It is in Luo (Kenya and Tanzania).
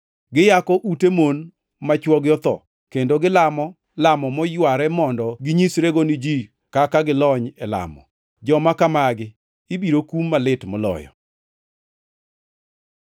Giyako ute mon ma chwogi otho kendo gilamo lamo moyware mondo ginyisrego ni ji kaka gilony e lamo. Joma kamagi ibiro kum malit moloyo.”